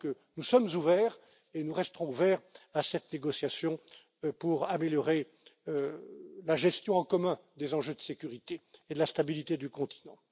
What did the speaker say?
Donc, nous sommes ouverts et nous restons ouverts à cette négociation pour améliorer la gestion en commun des enjeux de sécurité et de la stabilité du continent.